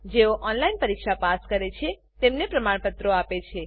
જેઓ ઓનલાઈન પરીક્ષા પાસ કરે છે તેઓને પ્રમાણપત્રો આપે છે